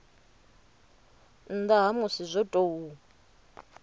nnda ha musi zwo tou